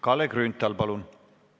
Kalle Grünthal, palun!